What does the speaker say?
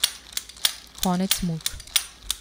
Konec muk.